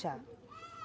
Já.